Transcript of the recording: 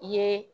I ye